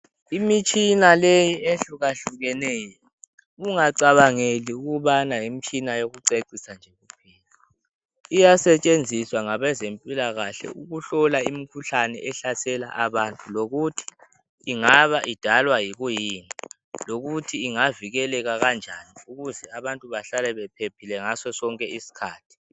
Imitshina leyi ehlukahlukeneyo, ungacabangeli ukubana yimtshina yocecisa nje. Iyasetshenziswa ngabazemphilakahle ukuhlola imkhuhlane esahlela abantu, lokuthi ingaba idalwa yikuyini, lokuthi ingavikeleka kanjani ukuze abantu behlale bephephile ngaso sonke isikhathi.